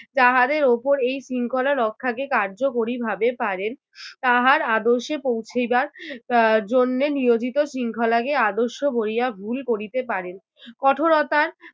তাহারের উপর এই শৃঙ্খলা রক্ষাকে কার্যকরী ভাবে পারেন তাহার আদর্শে পৌঁছিবার আহ জন্মে নিয়োজিত শৃঙ্খলাকে আদর্শ বলিয়া ভূল করিতে পারেন। কঠোরতার